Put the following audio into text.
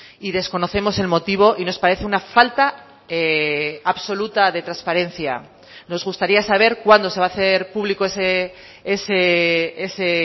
y desconocemos el motivo y nos parece una falta absoluta de transparencia nos gustaría saber cuándo se va a hacer público ese